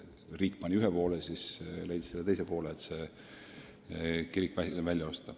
Riik pani ühe poole ja luterlik kirik teise poole, et kirik välja osta.